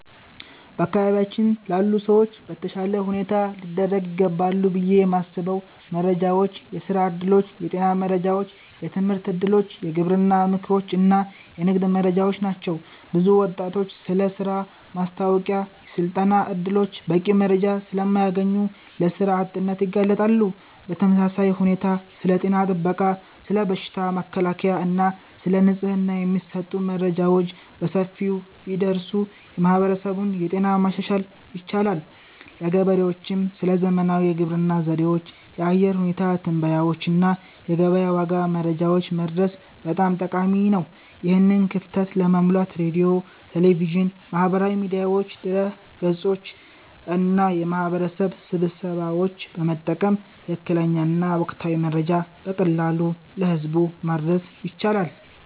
በአካባቢያችን ላሉ ሰዎች በተሻለ ሁኔታ ሊደርሱ ይገባሉ ብዬ የማስበው መረጃዎች የሥራ ዕድሎች፣ የጤና መረጃዎች፣ የትምህርት እድሎች፣ የግብርና ምክሮች እና የንግድ መረጃዎች ናቸው። ብዙ ወጣቶች ስለ ሥራ ማስታወቂያዎችና የሥልጠና ዕድሎች በቂ መረጃ ስለማያገኙ ለሥራ አጥነት ይጋለጣሉ። በተመሳሳይ ሁኔታ ስለ ጤና ጥበቃ፣ ስለ በሽታ መከላከል እና ስለ ንጽህና የሚሰጡ መረጃዎች በሰፊው ቢደርሱ የማህበረሰቡን ጤና ማሻሻል ይቻላል። ለገበሬዎችም ስለ ዘመናዊ የግብርና ዘዴዎች፣ የአየር ሁኔታ ትንበያዎች እና የገበያ ዋጋ መረጃዎች መድረስ በጣም ጠቃሚ ነው። ይህን ክፍተት ለመሙላት ሬዲዮ፣ ቴሌቪዥን፣ ማህበራዊ ሚዲያዎች፣ ድረ-ገጾች እና የማህበረሰብ ስብሰባዎችን በመጠቀም ትክክለኛና ወቅታዊ መረጃ በቀላሉ ለህዝብ ማድረስ ይቻላል